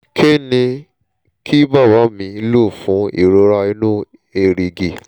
kí ni kí bàbá mi lò fún ìrora inú èrìgì?